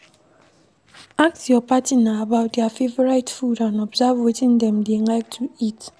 Ask your partner about their favourite food and observe wetin dem dey like to eat